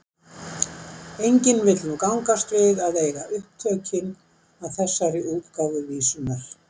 enginn vill nú gangast við að eiga upptökin að þessari útgáfu vísunnar